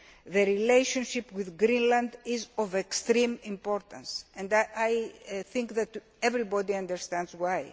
the relationship with Greenland is of extreme importance and I think that everybody understands why.